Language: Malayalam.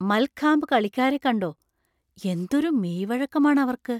മൽഖാംബ് കളിക്കാരെ കണ്ടോ? എന്തൊരു മെയ്‌വഴക്കം ആണ് അവർക്ക്!